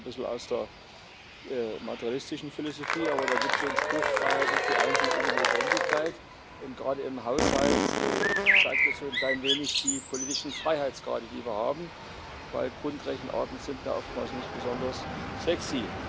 Das stammt zwar ein bisschen aus der materialistischen Philosophie, aber da gibt es so einen Spruch Freiheit ist die Einsicht in die Notwendigkeit. Gerade im Haushalt zeigt das so ein klein wenig die politischen Freiheitsgrade, die wir haben, denn Grundrechenarten sind da oftmals nicht besonders sexy.